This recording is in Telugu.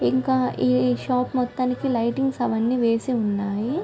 ఇంకా ఈ షాప్ మొత్తానికి లైటింగ్స్ అవన్నీ వేసి ఉన్నాయి.